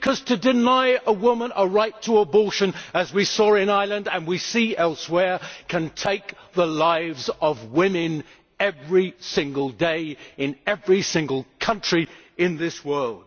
To deny a woman a right to abortion, as we saw in Ireland and as we see elsewhere, can take the lives of women every single day in every single country in this world.